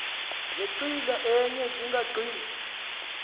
zenqila enye zingagqithi